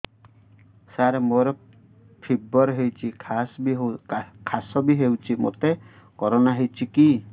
ସାର ମୋର ଫିବର ହଉଚି ଖାସ ବି ହଉଚି ମୋତେ କରୋନା ହେଇଚି କି